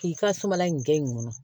K'i ka suman in kɛ yen nɔ